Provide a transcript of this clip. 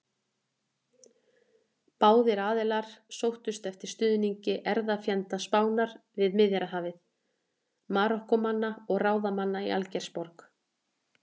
Báðir aðilar sóttust eftir stuðningi erfðafjenda Spánar við Miðjarðarhafið: Marokkómanna og ráðamanna í Algeirsborg.